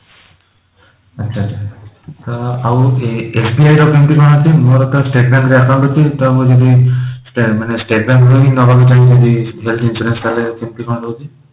ଆଚ୍ଛା ତ ଆଉ SBI ର କେମିତି କଣ ଅଛି ମୋର ତ state bank ରେ account ଅଛି ତ ମୁଁ ଯଦି ମାନେ state bank ରୁ ହିଁ ନବାକୁ ଚାହିଁବି ଯଦି life insurance ତାହେଲେ କେମିତି କଣ ରହୁଛି?